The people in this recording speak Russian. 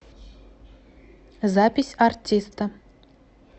запись ариста